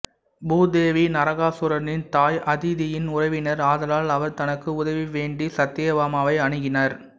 பூதேவி நரகாசுரனின் தாய் அதிதியின் உறவினர் ஆதலால் அவர் தனக்கு உதவி வேண்டி சத்யபாமாவை அணுகினர்